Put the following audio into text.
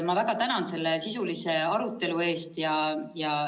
Ma väga tänan selle sisulise arutelu eest!